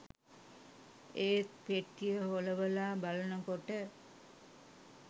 ඒත් පෙට්ටිය හොලවලා බලනකොට